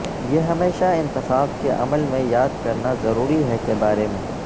یہ ہمیشہ انتخاب کے عمل میں یاد کرنا ضروری ہے کے بارے میں